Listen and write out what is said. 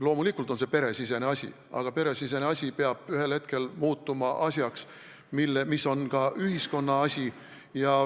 Loomulikult on see peresisene asi, aga peresisene asi peab ühel hetkel muutuma selliseks asjaks, et see on ka ühiskonna asi.